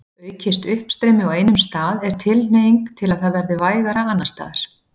Aukist uppstreymi á einum stað er tilhneiging til að það verði vægara annars staðar.